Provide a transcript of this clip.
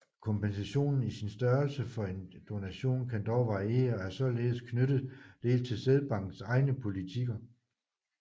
Kompensationen i sin størrelse for en donation kan dog variere og er således knyttet dels til sædbankers egne politikker